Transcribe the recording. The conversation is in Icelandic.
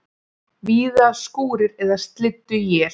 Víða skúrir eða slydduél